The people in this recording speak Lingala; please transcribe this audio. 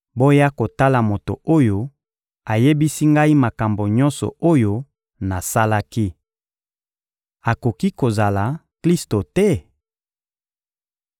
— Boya kotala moto oyo ayebisi ngai makambo nyonso oyo nasalaki. Akoki kozala Klisto te?